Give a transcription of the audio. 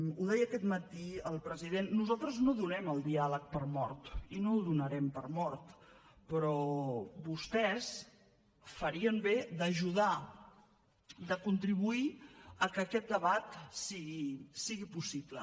ho deia aquest matí el president nosaltres no donem el diàleg per mort i no el donarem per mort però vostès farien bé d’ajudar de contribuir a que aquest debat sigui possible